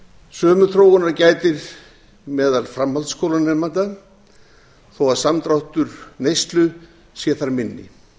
sömu þróunar gætir meðal framhaldsskólanemenda þó að samdráttur neyslu sé þar minni